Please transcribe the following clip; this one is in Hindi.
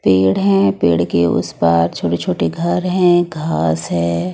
पेड़ हैं पेड़ के उस पार छोटे छोटे घर हैं घास है।